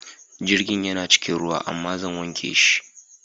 Jirgin yana cikin ruwa amma zan wanke shi.